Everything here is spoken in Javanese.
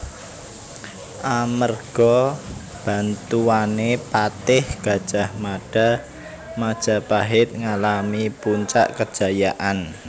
Amerga bantuané Patih Gadjah Mada Majapahit ngalami puncak kejayaan